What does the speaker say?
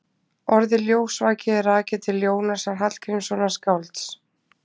Orðið ljósvaki er rakið til Jónasar Hallgrímssonar skálds.